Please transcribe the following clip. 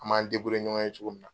An m'an ɲɔgɔn ye cogo min na,